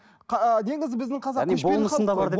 ы негізі біздің қазақ көшпелі халық